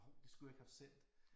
Hov det skulle jeg ikke have haft sendt